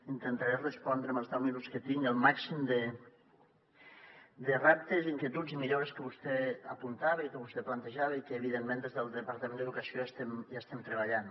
intentaré respondre amb els deu minuts que tinc el màxim de reptes inquietuds i millores que vostè apuntava i que vostè plantejava i en què evidentment des del departament d’educació hi estem treballant